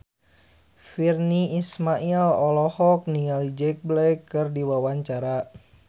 Virnie Ismail olohok ningali Jack Black keur diwawancara